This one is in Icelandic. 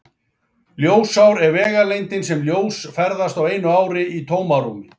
Ljósár er vegalengdin sem ljós ferðast á einu ári í tómarúmi.